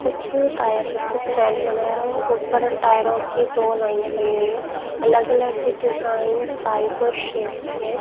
कुछ टायर एक स्टेंड बनाया हुआ ऊपर टायरो की दो लाईन बनी हुई हैं अलग अलग डिजाइन साइज और शेप की हैं।